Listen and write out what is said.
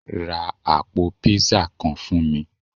Rá apò piiza kán fún mí.